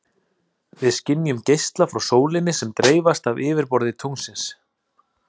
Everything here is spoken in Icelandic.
Við skynjum geisla frá sólinni sem dreifast af yfirborði tunglsins.